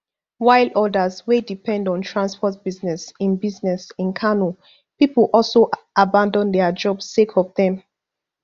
while odas wey depend on transport business in business in kano pipo also abandon dia jobs sake of dem